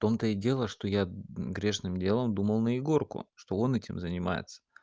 в том-то и дело что я грешным делом думал на егорку что он этим занимается